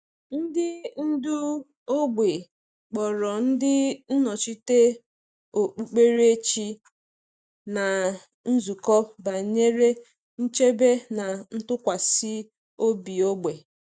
Ndị ndú ógbè kpọrọ ndị nnọchite okpukperechi na nzukọ banyere nchebe na ntụkwasị obi ógbè.